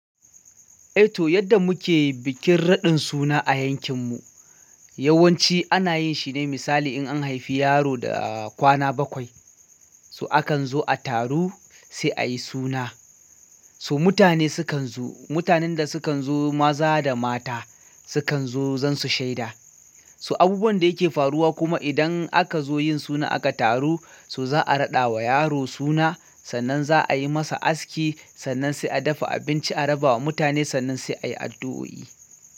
Eh to yadda muke bikin raɗin suna a yankin mu, yawanci ana yin shi ne misali in an haifi yaro da kwana bakwai. Su akan zo a taro sai ayi suna. So mutane sukan zo, mutanen da sukan zo maza da mata sukan zo dan su shaida. So abubuwan da yake faruwa kuma idan aka zo yin suna aka taru, so za'a raɗa wa yaro suna, sannan za'a yi masa aski, sannan sai a dafa abinci a raba wa mutane sannan sai ayi addu'o'i.